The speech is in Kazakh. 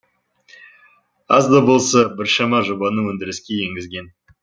аз да болса біршама жобаны өндіріске енгізген